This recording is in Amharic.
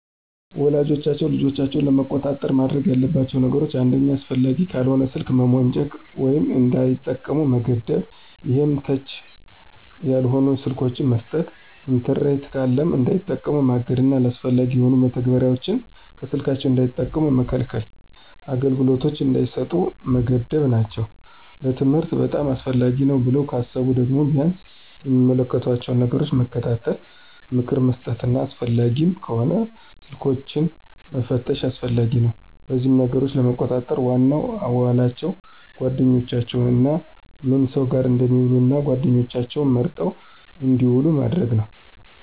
ወላጆች ልጆቻቸውን ለመቆጣጠር ማድረግ ያለባቸው ነገሮች አንደኛ አስፈላጊ ካልሆነ ስልክ መሞጨቅ ወይም እንዳይጠቀሙ መገደብ ይሄም ተች ያልሆኑ ስልኮችን መስጠት። ኢንተርኔት ካለም እንዳይጠቀሙ ማገድና አላስፈላጊ የሆኑ መተግበሪያዎችን ከስልካቸው እንዳይጠቀሙ መከልከልና አገልግሎት እንዳይሰጡ መገደብ ናቸው። ለትምህርት በጣም አስፈላጊ ነው ብለው ካሰቡ ደግሞ ቢያንስ የሚመለከቷቸውን ነገሮች መከታተል፣ ምክር መስጠትና አስፈላጊም ከሆነ ስልኮችንን መፈተሽም አስፈላጊ ነው። በዚህም ነገሮችን ለመቆጣጠር ዋናው አዋዋላቸውን፣ ጓደኛቸውንና ምን ሰው ጋር እንደሚውሉ እና ጓደኛቸውም መርጠው እንድውሉ ማድረግ ነው።